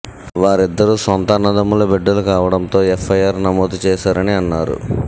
వారిద్దరూ సొంత అన్నదమ్ముల బిడ్డలు కావడంతో ఎఫ్ఐఆర్ నమోదు చేశారని అన్నారు